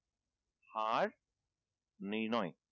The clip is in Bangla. হার নির্ণয়।